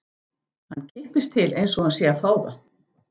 Hann kippist til einsog hann sé að fá það.